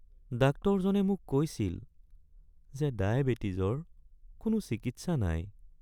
ডাক্তৰজনে মোক কৈছিল যে ডায়েবেটিছৰ কোনো চিকিৎসা নাই।